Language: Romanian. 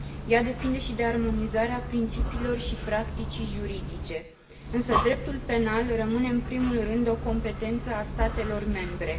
Ea depinde și de armonizarea principiilor și practicii juridice, însă dreptul penal rămâne în primul rând o competență a statelor membre.